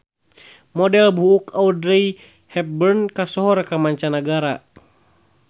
Model buuk Audrey Hepburn kasohor ka manca nagara